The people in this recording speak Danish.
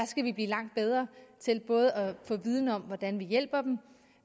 skal blive langt bedre til at få viden om hvordan vi hjælper dem og